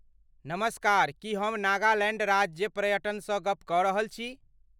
नमस्कार! की हम नागालैण्ड राज्य पर्यटनसँ गप कऽ रहल छी?